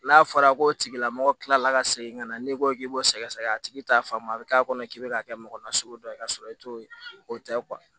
N'a fɔra ko tigilamɔgɔ kilala ka segin ka na n'i ko k'i b'o sɛgɛsɛgɛ a tigi t'a faamu a bɛ k'a kɔnɔ k'i bɛ k'a kɛ mɔgɔ nasugu dɔ ye ka sɔrɔ i t'o ye o tɛ